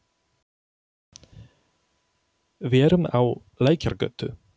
Við erum á Lækjargötu.